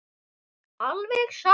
Alveg satt!